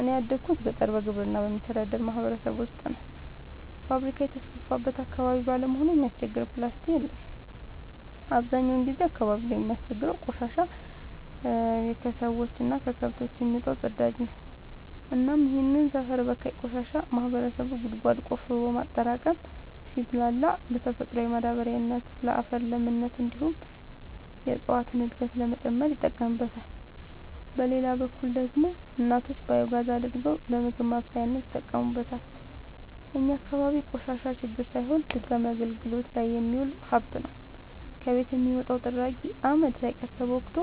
እኔ ያደጉት ገጠር በግብርና በሚተዳደር ማህበረሰብ ውስጥ ነው። ፋብሪካ የተስፋፋበት አካባቢ ባለመሆኑ የሚያስቸግር ፕላስቲ የለም አብዛኛውን ጊዜ አካባቢው ላይ የሚያስቸግረው ቆሻሻ የከሰዎች እና ከከብቶች የሚወጣው ፅዳጅ ነው እናም ይህንን ሰፈር በካይ ቆሻሻ ማህበረሰቡ ጉድጓድ ቆፍሮ በማጠራቀም ሲብላላ ለተፈጥሯዊ ማዳበሪያነት ለአፈር ለምነት እንዲሁም የእፀዋትን እድገት ለመጨመር ይጠቀምበታል። በሌላ በኩል ደግሞ እናቶች ባዮጋዝ አድርገው ለምግብ ማብሰያነት ይጠቀሙበታል። እኛ አካባቢ ቆሻሻ ችግር ሳይሆን ድጋሚ አገልግት ላይ የሚውል ሀብት ነው። ከቤት የሚወጣው ጥራጊ አመድ ሳይቀር ተቦክቶ